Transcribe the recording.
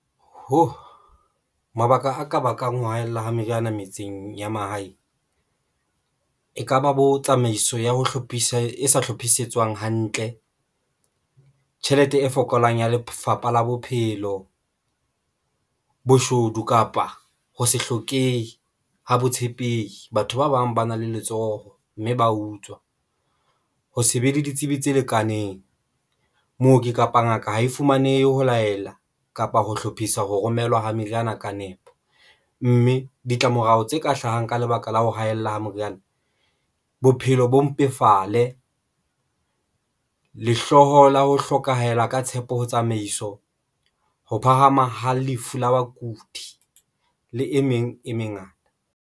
Ho mabaka aka bakang ho haella ha meriana metseng ya mahae, ekaba bo tsamaiso ya ho hlophisa e hlophisitsweng hantle tjhelete e fokolang ya Lefapha la Bophelo, boshodu kapa ho se hlokehi ho botshepehi. Batho ba bang ba na le letsoho mme ba utswa ho se be le ditsebi tse lekaneng. Mooki kapo ngaka ha e fumanehe ho laela kapa ho hlophisa ho romelwa ha meriana ka nepo, mme ditlamorao tse ka hlahang ka lebaka la ho haella ha moriana, bophelo bo mpefale lehloho la ho hlokahela ka tshepo ho tsamaiso ho phahama ha lefu la bakudi le e meng e mengata.